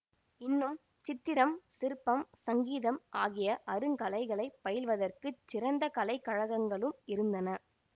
இன்னும் சித்திரம் சிற்பம் சங்கீதம் ஆகிய அருங்கலைகளைப் பயில்வதற்குச் சிறந்த கலை கழகங்களும் இருந்தன